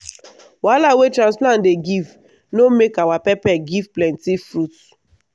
wahala wey transplant dey give no make our pepper give plenty fruit.